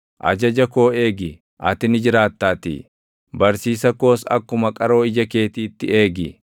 Ajaja koo eegi, ati ni jiraataatii; barsiisa koos akkuma qaroo ija keetiitti eegi.